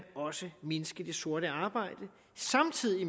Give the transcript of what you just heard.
også mindske det sorte arbejde samtidig